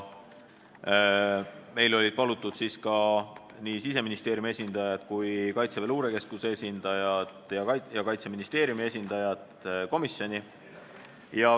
Meil olid palutud komisjoni Siseministeeriumi, Kaitseväe luurekeskuse ja Kaitseministeeriumi esindajad.